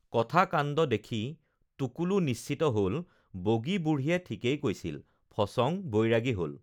কথা কাণ্ড দেখি টুকুলু নিশ্চিত হ'ল বগী বুঢ়ীয়ে ঠিকেই কৈছিল ফচং বৈৰাগী হল